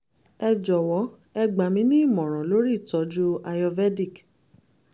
ẹ jọwọ ẹ gbà mí ní ìmọ̀ràn lórí ìtọ́jú ayurvedic